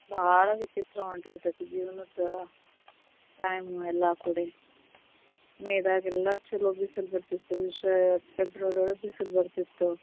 ಬಾಳ ವಿಚಿತ್ರ ಹೊಂಟ ಬಿಟ್ಟೇತಿ ಜೀವನದ time ಎಲ್ಲಾ ಕುಡೆ may ದಾಗ ಎಲ್ಲಾ ಚೊಲೋ ಬಿಸಿಲ ಬರ್ತಿತ್ತು, ಫೆಬ್ರವರಿ ಒಳಗ್ ಬಿಸಿಲ್ ಬರ್ತಿತ್ತು.